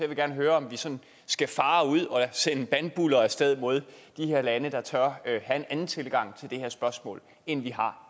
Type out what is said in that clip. vil gerne høre om vi sådan skal fare ud og sende bandbuller af sted mod de her lande der tør have en anden tilgang til det her spørgsmål end vi har